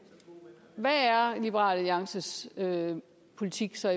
hvad er liberal alliances politik så